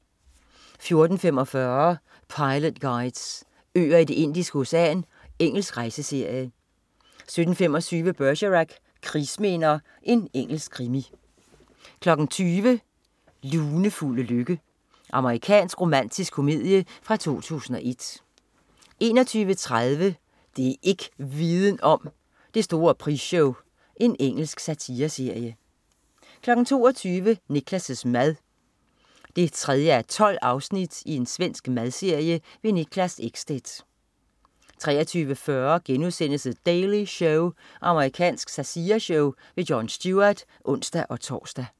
14.45 Pilot Guides: Øer i Det indiske Ocean. Engelsk rejseserie 17.25 Bergerac: Krigsminder. Engelsk krimi 20.00 Lunefulde lykke. Amerikansk romantisk komedie fra 2001 21.30 Det' ikk' Viden om: Det store prisshow. Engelsk satireserie 22.00 Niklas' mad 3:12. Svensk madserie. Niklas Ekstedt 23.40 The Daily Show.* Amerikansk satireshow. Jon Stewart (ons-tors)